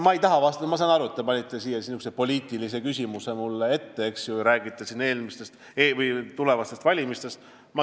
Ma saan aru, et te panite mulle ette sellise poliitilise küsimuse, eks ju, te räägite siin tulevastest valimistest.